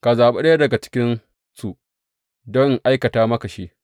Ka zaɓi ɗaya daga cikinsu don in aikata maka shi.’